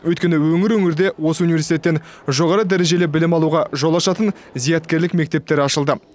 өйткені өңір өңірде осы университеттен жоғары дәрежелі білім алуға жол ашатын зияткерлік мектептері ашылды